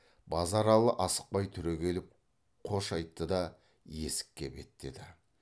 базаралы асықпай түрегеліп қош айтты да есікке беттеді